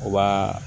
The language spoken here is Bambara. U b'a